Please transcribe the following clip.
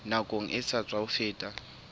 nakong e sa tswa feta